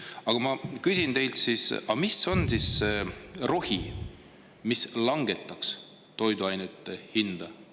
Aga ma küsin teilt: mis on siis see rohi, mis langetaks toiduainete hinda?